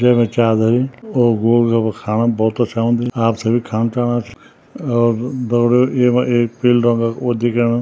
जैमा चा धरीं और गोल गफफा खाणम भौत अच्छा हुन्दी आप थे भी खान च्याणा छ और दगड़ियों येमा एक पीलू रंगों वो दिख्येणु।